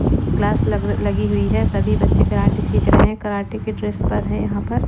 glass लग लगी हुई है सभी बच्चे कराटे सीख रहे हैं कराटे के ड्रेस पे है यहां पर--